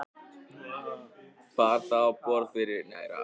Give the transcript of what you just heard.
Bar það á borð fyrir